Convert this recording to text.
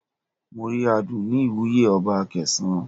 Mo rí aadun ní ìwúye ọba Akesan.